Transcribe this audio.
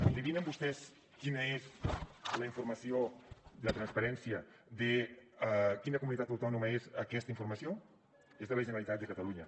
endevinen vostès quina és la informació la transparència de quina comunitat autònoma és aquesta informació és de la generalitat de catalunya